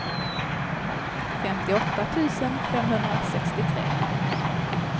femtioåtta tusen femhundrasextiotre